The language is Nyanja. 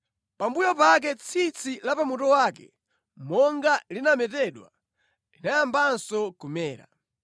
Pambuyo pake tsitsi la pa mutu wake, monga linametedwa, linayambanso kumera.